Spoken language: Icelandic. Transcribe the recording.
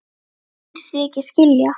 Finnst ég ekkert skilja.